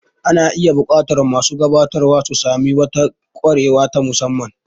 Ana iya buƙatar masu gabatarwa su sami wata kwarewa ta musamman.